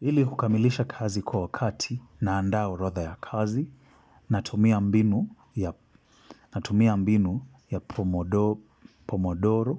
Hili kukamilisha kazi kwa wakati na anda orodha ya kazi natumia mbinu ya pomodoro